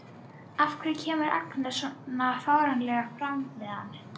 Af hverju kemur Agnes svona fáránlega fram við hann?